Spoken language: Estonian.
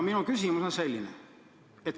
Minu küsimus on selline.